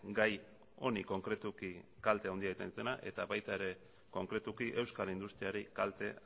gai honi konkretuki kalte handia egiten dutenak eta baita ere konkretuki euskal industriari kalte